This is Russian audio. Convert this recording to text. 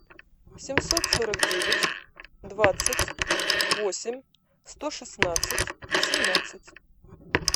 семьсот сорок девять двадцать восемь сто шестнадцать семнадцать